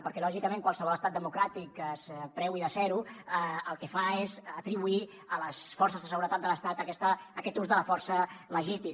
perquè lògicament qualsevol estat democràtic es preui de ser ho el que fa és atribuir a les forces de seguretat de l’estat aquest ús de la força legítim